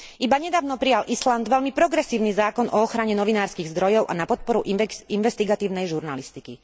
Iba nedávno prijal Island veľmi progresívny zákon o ochrane novinárskych zdrojov a na podporu investigatívnej žurnalistiky.